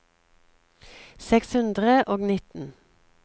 seks hundre og nitten